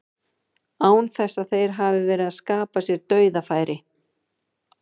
Án þess þó að þeir hafi verið að skapa sér dauðafæri.